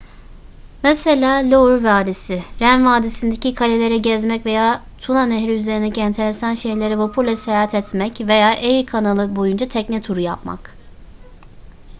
mesela loire vadisi ren vadisi'ndeki kaleleri gezmek veya tuna nehri üzerindeki enteresan şehirlere vapurla seyahat etmek veya erie kanalı boyunca tekne turu yapmak